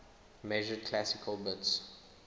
measured classical bits